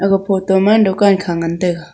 aga photo ma dukan kha ngan taiga.